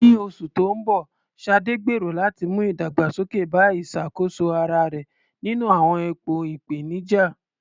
Ní oṣù tó ń bọ̀, Sade gbèrò láti mú ìdàgbàsókè bá ìṣàkóso ara rẹ̀ nínú àwọn ipò ìpèníjà.